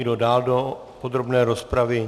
Kdo dál do podrobné rozpravy?